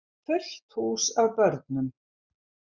Fullt hús af börnum.